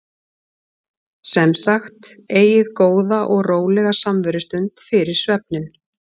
Sem sagt: Eigið góða og rólega samverustund fyrir svefninn.